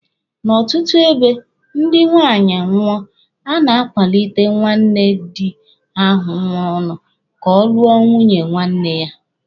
N'ọtụtụ ebe, dị nwaanyị nwụọ, a na-akwalite nwanne di ahụ nwụrụnụ ka ọ lụọ nwunye nwanne ya.